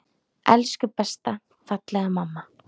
Elsku besta, fallega mamma.